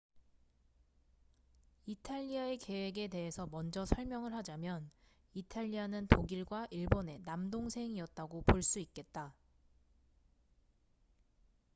이탈리아의 계획에 대해서 먼저 설명을 하자면 이탈리아는 독일과 일본의 남동생'이었다고 볼 수 있겠다